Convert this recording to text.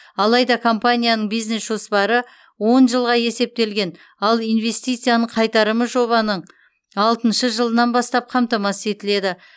алайда компанияның бизнес жоспары он жылға есептелген ал инвестицияның қайтарымы жобаның алтыншы жылынан бастап қамтамасыз етіледі